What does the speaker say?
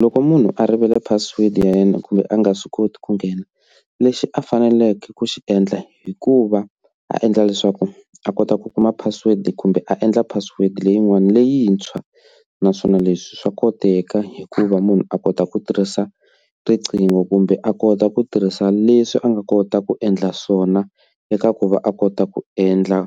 Loko munhu a rivele password ya yena kumbe a nga swi koti ku nghena lexi a faneleke ku xi endla hikuva a endla leswaku a kota ku kuma password kumbe a endla password leyin'wani leyintshwa naswona leswi swa koteka hikuva munhu a kota ku tirhisa riqingho kumbe a kota ku tirhisa leswi a nga kota ku endla swona eka ku va a kota ku endla